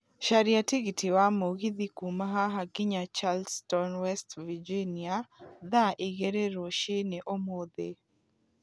caria tigiti wa mũgithi kuuma haha nginya Charleston west Virginia thaa igĩrĩrũcinĩomothe